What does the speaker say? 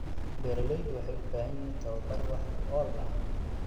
Beeraleydu waxay u baahan yihiin tababar wax ku ool ah.